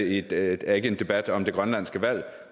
ikke er en debat om det grønlandske valg